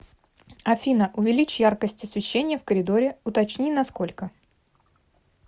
афина увеличь яркость освещения в коридоре уточни на сколько